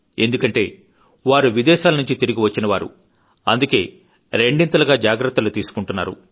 ఎందుకంటే వారు విదేశాల నుంచి తిరిగి వచ్చినవాళ్ళు అందుకే రెండింతలుగా జాగ్రత్తలు తీసుకుంటున్నారు